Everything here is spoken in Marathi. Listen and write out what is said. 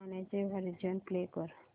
गाण्याचे व्हर्जन प्ले कर